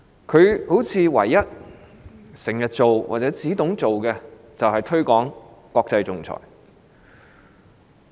似乎她唯一經常做或懂得做的事情是推廣國際仲裁。